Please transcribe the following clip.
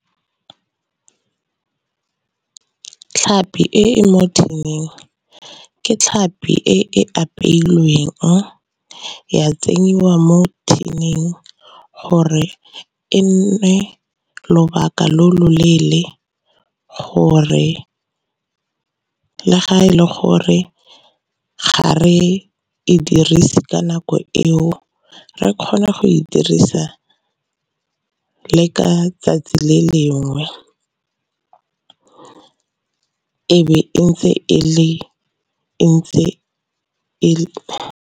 Tlhapi e e mo tin-ing ke tlhapi e e apeilweng ya tsenyiwa mo tin-ing gore e nne lobaka lo loleele, gore le ga e le gore ga re e dirise ka nako eo re kgona go e dirisa le ka 'tsatsi le lengwe e be e ntse e le e le.